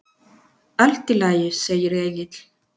Allt í lagi, segir Egill.